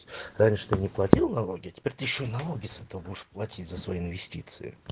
что не платил налоги теперь ты ещё и налоги зато будешь платить за свои инвестиции